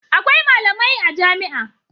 Akwai malamai a jami'a.